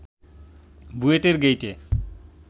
বুয়েটের গেইটে